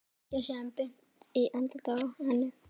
Hrækja síðan beint í andlitið á henni.